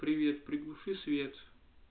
привет приглуши свет